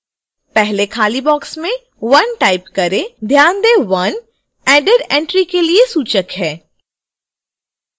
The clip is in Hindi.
पहले खाली box में 1 type करें ध्यान दें 1 added entry के लिए सूचक है